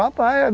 É só praia.